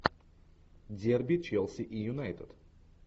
дерби челси и юнайтед